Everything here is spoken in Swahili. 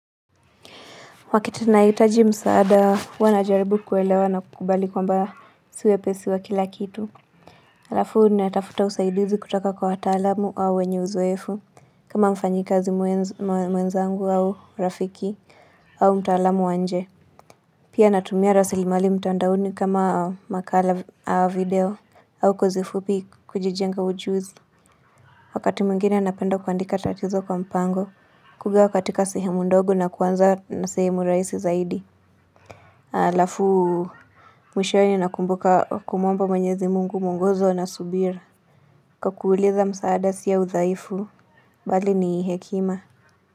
Wakati nahitaji msaada huwa najaribu kuelewa na kukubali kwamba si wepesi wa kila kitu. Alafu natafuta usaidizi kutoka kwa wataalamu au wenye uzoefu. Kama mfanyikazi mwenzangu au rafiki au mtaalamu wa nje. Pia natumia rasilimali mtaandaoni kama makala au video au kazi fupi kujijenga ujuzi. Wakati mwingine napenda kuandika tatizo kwa mpango kugawa katika sehemu ndogo na kuanza na sehemu raisi zaidi. Alafu mwishowe nakumbuka kumwomba mwenyezi mungu muongozo na subira kuwa kuuliza msaada sio udhaifu Bali ni hekima.